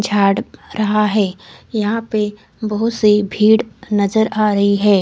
झाड़ रहा है यहा पे बहोत सी भीड़ नजर आ रही है।